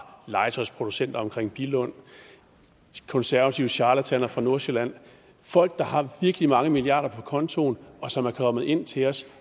legetøjsproducenter omkring billund konservative charlataner fra nordsjælland folk der har virkelig mange milliarder kroner på kontoen og som er kommet ind til os